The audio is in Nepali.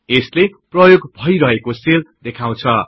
यसले प्रयोग भइरहेको सेल देखाउछ